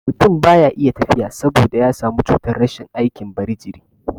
Mutun baya iya tafiya saboda ya samu cutar rashin aikin bari jiri